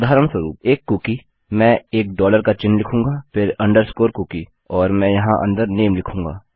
उदाहरणस्वरुप एक कुकी मैं एक डॉलर का चिह्न लिखूँगा फिर अंडरस्कोर कुकी और मैं यहाँ अंदर नामे लिखूँगा